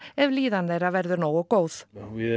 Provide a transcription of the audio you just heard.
ef líðan þeirra verður nógu góð við